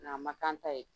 Nga a ma k'an ta ye